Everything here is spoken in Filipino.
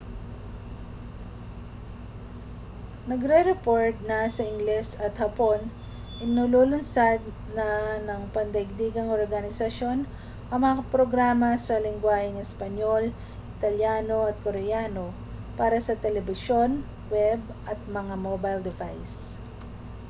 nagrereport na sa ingles at hapon inilulunsad na ng pandaigdigang organisasyon ang mga programa sa lengguwaheng espanyol italyano at koreano para sa telebisyon web at mga mobile device